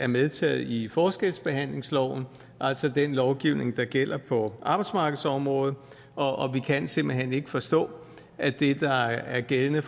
medtaget i forskelsbehandlingsloven altså den lovgivning der gælder på arbejdsmarkedsområdet og vi kan simpelt hen ikke forstå at det der er gældende